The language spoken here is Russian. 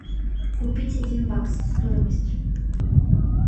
купить один бакс стоимость